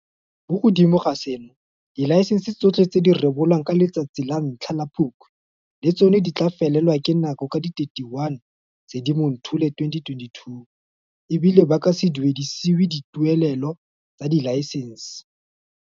Mo godimo ga seno, dilaesense tsotlhe tse di rebolwang ka la bo 1 Phukwi le tsona di tla felelwa ke nako ka di 31 Sedimonthole 2022, e bile ba ka se duedisiwe dituelelo tsa dilaesense.